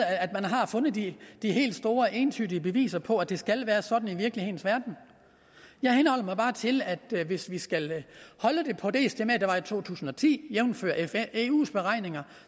at man har fundet de helt store og entydige beviser på at det skal være sådan i virkelighedens verden jeg henholder mig bare til at hvis vi skal holde det på det estimat der var i to tusind og ti jævnfør eus beregninger